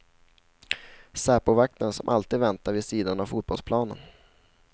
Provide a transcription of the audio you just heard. Säpovakten som alltid väntar vid sidan av fotbollsplanen.